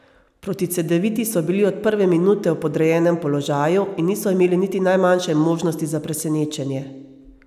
Proti Cedeviti so bili od prve minute v podrejenem položaju in niso imeli niti najmanjše možnosti za presenečenje.